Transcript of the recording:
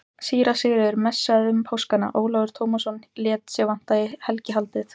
Síra Sigurður messaði um páskana, Ólafur Tómasson lét sig vanta í helgihaldið.